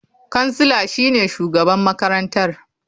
Kansila shine shugaban makarantar.